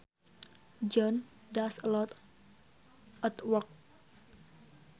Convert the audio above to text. John does a lot at work